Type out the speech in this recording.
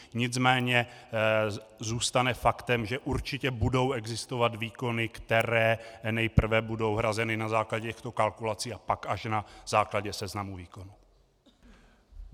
Nicméně zůstane faktem, že určitě budou existovat výkony, které nejprve budou hrazeny na základě těchto kalkulací a pak až na základě seznamu výkonů.